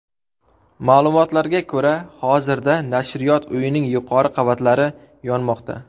Ma’lumotlarga ko‘ra, hozirda Nashriyot uyining yuqori qavatlari yonmoqda.